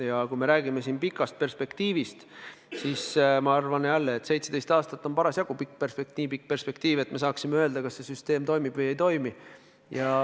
Ja kui me räägime siin pikast perspektiivist, siis ma arvan, et 17 aastat on parasjagu nii pikk perspektiiv, et me saaksime öelda, kas see süsteem toimib või ei toimi.